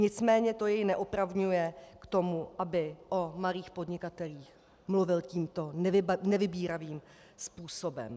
Nicméně to jej neopravňuje k tomu, aby o malých podnikatelích mluvil tímto nevybíravým způsobem.